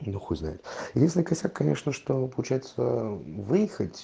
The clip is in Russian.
да хуй знает единственный косяк конечно что получается выехать